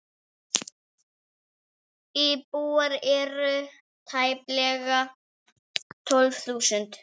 Íbúar eru tæplega tólf þúsund.